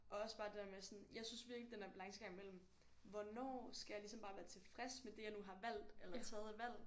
Og også bare det der med jeg synes virkelig den der balancegang mellem hvornår skal jeg ligesom bare være tilfreds med det jeg nu har valgt eller det jeg nu har taget af valg